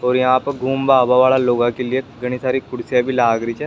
और यहाँ पे घुमबा आबा वाला लोगा के लिए काफी सारी कुर्सियां भी लाग रीछे।